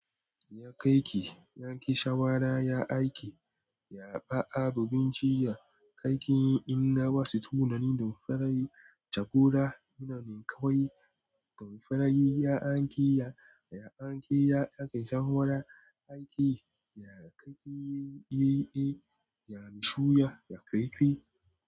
Ya kai ki, ya ƙi shawara, ya aike. Ya ba abu binciya, kai kin yi in na ba su tunani. Damfarai jagora, ina min kawai damfarai. Ya anke ya, ya anke ya, ya ƙi shawara, ya ƙi, ya kai ke yi, ya bi shura, ya kai ki.